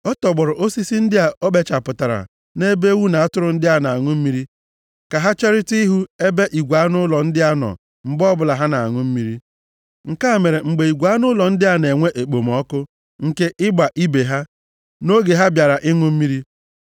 Ọ tọgbọrọ osisi ndị a o kpechapụtara nʼebe ewu na atụrụ ndị a na-aṅụ mmiri, ka ha cherịta ịhụ ebe igwe anụ ụlọ ndị a nọ mgbe ọbụla ha na-aṅụ mmiri. Nke a mere mgbe igwe anụ ụlọ ndị a na-enwe ekpomọkụ nke ịgba ibe ha, nʼoge ha bịara ịṅụ mmiri,